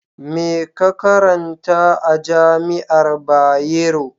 Me ka karanta a jami'ar Bayero?